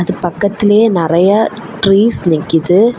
இது பக்கத்திலேயே நெறைய ட்ரீஸ் நிக்குது.